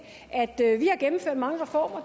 at vi har gennemført mange reformer og